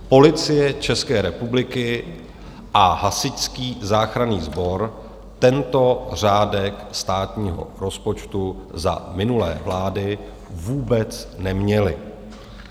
Policie České republiky a Hasičský záchranný sbor tento řádek státního rozpočtu za minulé vlády vůbec neměly.